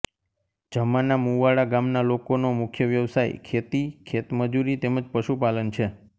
જમાના મુવાડા ગામના લોકોનો મુખ્ય વ્યવસાય ખેતી ખેતમજૂરી તેમ જ પશુપાલન છે